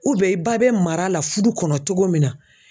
i ba bɛ mara la fudu kɔnɔ cogo min na.